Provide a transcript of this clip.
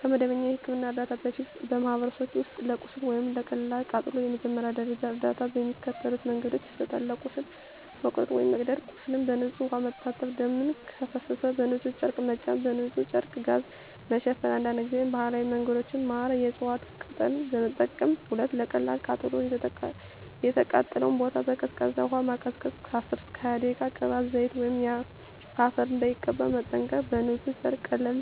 ከመደበኛ የሕክምና እርዳታ በፊት፣ በማኅበረሰቦች ውስጥ ለቁስል ወይም ለቀላል ቃጠሎ የመጀመሪያ ደረጃ እርዳታ በሚከተሉት መንገዶች ይሰጣል፦ ለቁስል (መቁረጥ፣ መቀደድ) ቁስሉን በንጹሕ ውሃ መታጠብ ደም ከፈሰሰ በንጹሕ ጨርቅ መጫን በንጹሕ ጨርቅ/ጋዝ መሸፈን አንዳንድ ጊዜ ባህላዊ መንገዶች (ማር፣ የእፅዋት ቅጠል) መጠቀም 2. ለቀላል ቃጠሎ የተቃጠለውን ቦታ በቀዝቃዛ ውሃ ማቀዝቀዝ (10–20 ደቂቃ) ቅባት፣ ዘይት ወይም አፈር እንዳይቀባ መጠንቀቅ በንጹሕ ጨርቅ ቀለል